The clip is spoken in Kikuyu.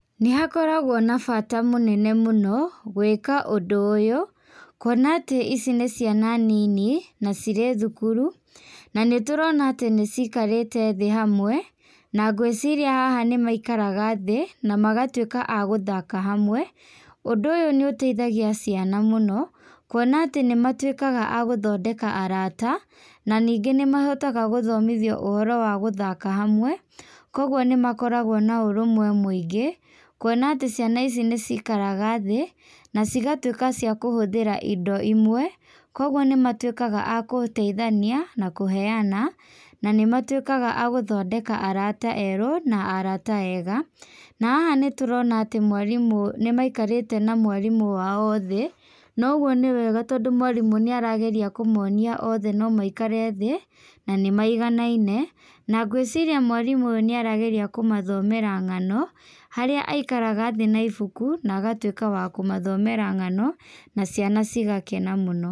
Nĩ hakoragwo na bata mũnene mũno gwĩka ũndũ ũyũ, kũona atĩ ici nĩ ciana nini na cirĩ thukuru, na nĩ tũrona atĩ nĩcikarĩte thĩ hamwe, na ngwĩciria haha nĩ maikaraga thĩ, na magatuĩka a gũthaka hamwe. Ũndũ ũyũ nĩ ũteithagia ciana mũno, kuona atĩ nĩ matuĩkaga a gũthondeka arata, na ningĩ nĩ mahotaga gũthomithio ũhoro wa gũthaka hamwe, koguo nĩ makoragwo na ũrũmwe mũingĩ, kũona atĩ ciana ici nĩcikaraga thĩ, na cigatuĩka cia kũhũthĩra indo imwe, koguo nĩ matuĩkaga a gũteithania na kuheana na nĩ matuĩkaga a gũthondeka arata erũ na arata ega na haha nĩtũrona atĩ mwarimũ, nĩ maikarĩte na mwarimũ wao thĩ, na ũguo nĩ wega tondũ mwarimũ nĩ arageria kũmonia othe no maikare thĩ, na nĩ maiganaine, na ngwĩciria mwarimũ ũyũ nĩ arageria kũmathomera ng'ano, harĩa aikaraga thĩ na ibuku, na agatuĩka wa kũmathomera ng'ano na ciana cigakena mũno.